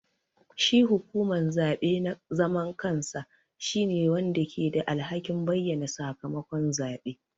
Shi hukuman zaɓe na zaman kansa shine wanda ke da alhakin bayyana sakamakon zabe.